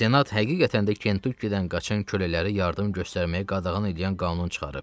Senat həqiqətən də Kentukkidən qaçan kölələri yardım göstərməyə qadağan eləyən qanun çıxarıb.